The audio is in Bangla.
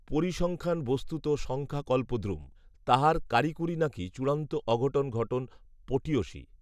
পরিসংখ্যান বস্তুত সংখ্যাকল্পদ্রুম। তাহার কারিকুরি নাকি চূড়ান্ত অঘটন ঘটন পটীয়সী